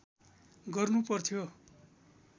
गर्नु पर्थ्यो